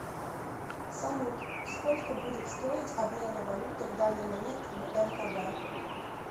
салют сколько будет стоить обмена валюты в данный момент в мкб